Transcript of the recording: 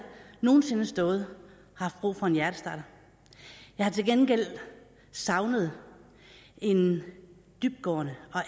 nogen sinde stået og haft brug for en hjertestarter jeg har til gengæld savnet en dybtgående